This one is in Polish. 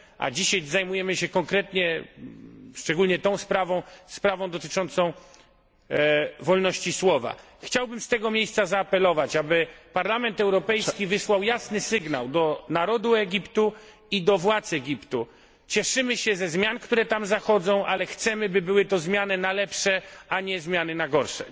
Dzisiaj zajmujemy się konkretnie sprawą dotyczącą wolności słowa. Chciałbym z tego miejsca zaapelować, aby Parlament Europejski wysłał jasny sygnał do narodu Egiptu i do władz Egiptu cieszymy się ze zmian, które tam zachodzą, ale chcemy by były to zmiany na lepsze, a nie zmiany na gorsze.